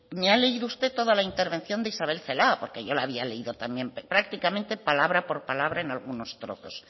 me ha leído usted toda la intervención de isabel celaá porque yo la había leído también prácticamente palabra por palabra en algunos trozos